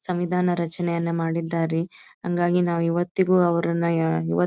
ಸಂವಿದಾನ ರಚನೆಯನ್ನು ಮಾಡಿದ್ದಾರೆ ಹಾಗಾಗಿ ನಾವು ಇವತ್ತಿಗೂ ಅವರನ್ನ ಯಾ ಇವತ್ --